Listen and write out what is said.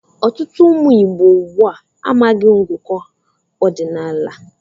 Ọtụtụ ụmụ Ìgbo ugbu a amaghị ngụkọ ọdinaala.